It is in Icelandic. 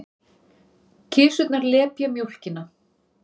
Kisurnar lepja mjólkina.